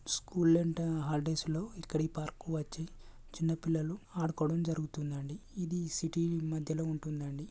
School అంత holidays లో ఇక్కడ పార్కు కి వచ్చి చిన్న పిల్లలు ఆడుకోవడం జరుగుతుంది. అండి సిటీ మధ్యలో ఉంటుందండి.